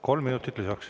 Kolm minutit lisaks.